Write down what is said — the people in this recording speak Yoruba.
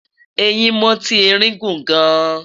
ẹhìn moti erin guun gaan